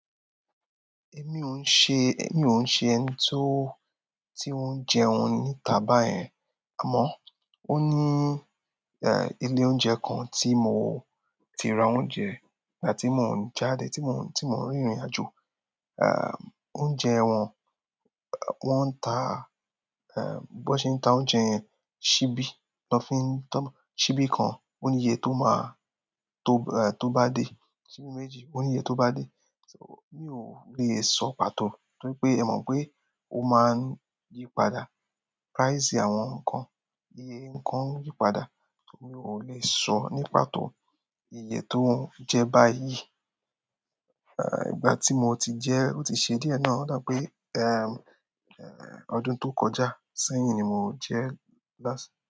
Èmi ò ń ṣe, èmi ò ń ṣe ẹni tí ó, tí ó ń jẹun níta báyẹn. Àmọ́, ó ní, eh, ilé oúnjẹ kan tí mo ti ra oúnjẹ nígbà tí mò ń jáde, tí mò ń, tí mò ń rìnrìn àjò. Ah, oúnjẹ wọn, wọ́n ń ta, eh, b'ọ́n ṣe ń ta oúnjẹ yẹn, síbí. Lọ́ fin, tán, síbí kan ó ní iye tó ma, tó, eh, tó bá dé. Síbí méjì ó ní iye tó bá dé. So, mi ò lè sọ pàtó. Torí pé ẹ mọ̀ pé ó máa ń yí padà. Price àwọn nǹkan, iye nǹkan ń yí padà. Mi ò le sọ ní pàtó iye tó ń jẹ́ báyìí. Eh, ìgbà tí mo ti jẹ ẹ́ ó ti ṣe díẹ̀ náà. Ó dà pé, ehm, ehm, ọdún tó kọjá sẹ́yìn ni mo jẹ́ last.